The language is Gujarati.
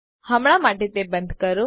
હમણાં માટે તે બંદ કરો